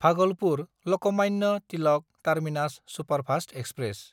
भागलपुर–लकमान्य Tilak terminus superfast express